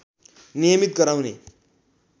नियमित गराउने